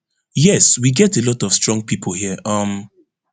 yes we get a lot of of strong pipo here um